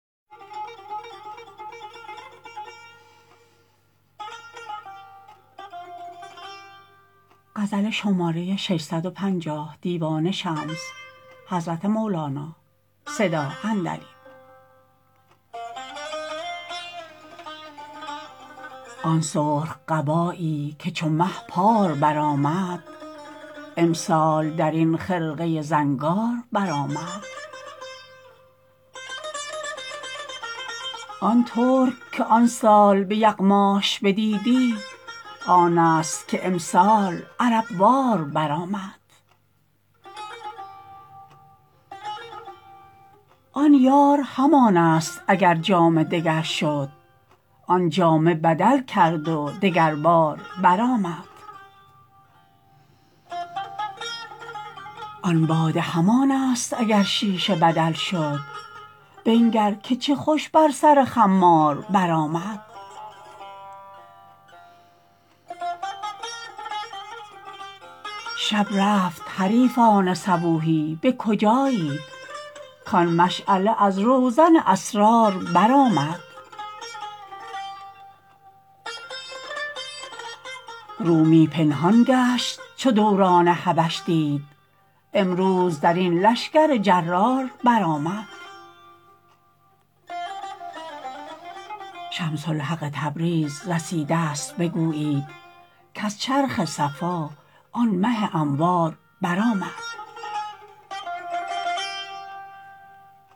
آن سرخ قبایی که چو مه پار برآمد امسال در این خرقه زنگار برآمد آن ترک که آن سال به یغماش بدیدی آنست که امسال عرب وار برآمد آن یار همانست اگر جامه دگر شد آن جامه بدل کرد و دگربار برآمد آن باده همانست اگر شیشه بدل شد بنگر که چه خوش بر سر خمار برآمد شب رفت حریفان صبوحی به کجایید کان مشعله از روزن اسرار برآمد رومی پنهان گشت چو دوران حبش دید امروز در این لشکر جرار برآمد شمس الحق تبریز رسیدست بگویید کز چرخ صفا آن مه انوار برآمد